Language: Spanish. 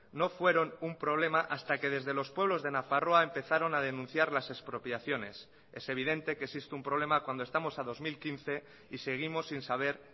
no fueron un problema hasta que desde los pueblos de nafarroa empezaron a denunciar las expropiaciones es evidente que existe un problema cuando estamos a dos mil quince y seguimos sin saber